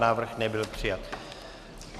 Návrh nebyl přijat.